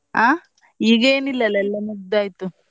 ಅಹ್ ಈಗ ಏನು ಇಲ್ಲ ಅಲ್ಲ ಎಲ್ಲಾ ಮುಗ್ದಾಯ್ತು.